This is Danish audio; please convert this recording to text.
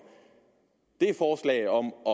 er forslag om at